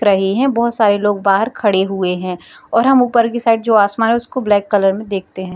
देख रहे हैं बहुत सारे लोग बाहर खड़े हुए हैं और हम ऊपर के साइड जो आसमान है उसको हम ब्लैक कलर में देखते हैं।